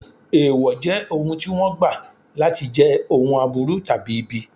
Èèwọ̀ jẹ́ ohun tí wọ́n gbà láti jẹ́ ohun aburú tàbí ibi.